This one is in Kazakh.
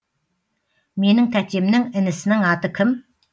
менің тәтемнің інісінің аты кім